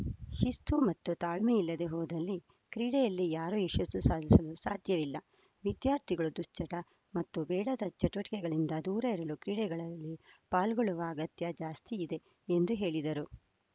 ಶಿಸ್ತು ಮತ್ತು ತಾಳ್ಮೆ ಇಲ್ಲದೆ ಹೋದಲ್ಲಿ ಕ್ರೀಡೆಯಲ್ಲಿ ಯಾರೂ ಯಶಸ್ಸು ಸಾಧಿಸಲು ಸಾಧ್ಯವಿಲ್ಲ ವಿದ್ಯಾರ್ಥಿಗಳು ದುಶ್ಚಟ ಮತ್ತು ಬೇಡದ ಚಟುವಟಿಕೆಗಳಿಂದ ದೂರ ಇರಲು ಕ್ರೀಡೆಗಳಲ್ಲಿ ಪಾಲ್ಗೊಳ್ಳುವ ಅಗತ್ಯ ಜಾಸ್ತಿ ಇದೆ ಎಂದು ಹೇಳಿದರು